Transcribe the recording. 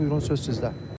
Buyurun, söz sizdə.